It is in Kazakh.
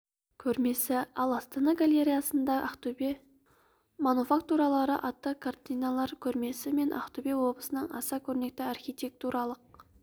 көрмесі ал астана галереясында ақтөбе мануфактуралары атты картиналар көрмесі мен ақтөбе облысының аса көрнекті архитектуралық